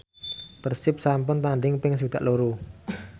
Persib sampun tandhing ping swidak loro